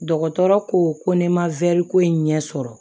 Dɔgɔtɔrɔ ko ko ne ma ko in ɲɛ sɔrɔ